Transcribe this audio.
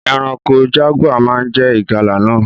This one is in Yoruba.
Eranko jaguar má je ìgalà náà